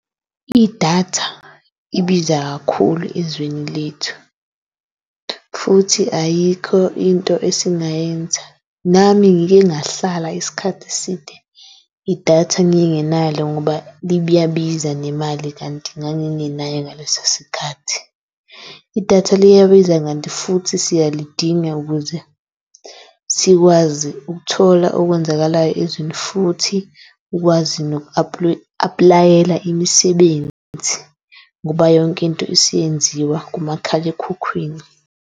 I-data ibiza kakhulu ezweni lethu futhi ayikho into esingayenza. Nami ngike ngahlala isikhathi eside i-data ngingenalo ngoba liyabiza nemali kanti ngangingenayo ngaleso sikhathi. I-data liyabiza kanti futhi siyalidinga ukuze sikwazi ukuthola okwenzakalayo ezweni futhi ukwazi noku-apply-ela imisebenzi ngoba yonke into isiyenziwa kumakhalekhukhwini.